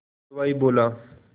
हलवाई बोला